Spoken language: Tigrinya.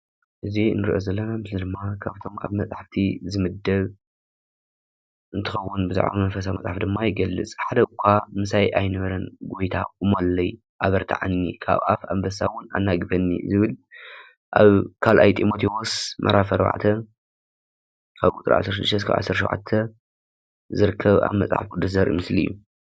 እዚ ንሪኦ ዘለና ምስሊ ድማ ካብቶም ኣብ መፅሓፍቲ ዝምደብ እንትኸውን ብዛዕባ መንፈሳዊ መፅሓፍቲ ድማ ይገልፅ፡፡ "ሓደኳ ምሳይ ኣይነበረን ጎይታ ቁመለይ ኣበርታዓኒ ካብ ኣፍ ኣንበሳ ውን ኣናግፈኒ"ዝብል ኣብ 2ይ ጢሞቲዎስ ምዕራፍ 4፡16-17 ዝርከብ ኣብ መፅሓፍ ቅዱስ ዘርኢ ምስሊ እዩ፡፡